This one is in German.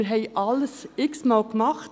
Wir haben alles x-mal gemacht.